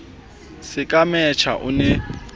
se ka mesha o ne